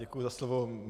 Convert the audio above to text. Děkuji za slovo.